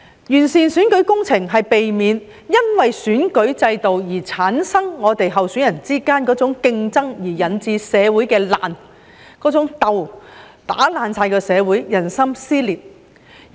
完善選舉制度是為了避免選舉制度在候選人之間產生的某種競爭於社會上引致的爛和鬥，"打爛"社會、撕裂人心。